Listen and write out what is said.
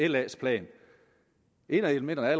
la’s plan et af elementerne er